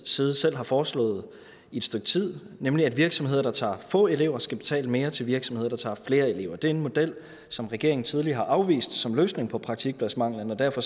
side selv har foreslået i et stykke tid nemlig at virksomheder der tager få elever skal betale mere til virksomheder der tager flere elever det er en model som regeringen tidligere har afvist som løsning på praktikpladsmanglen og derfor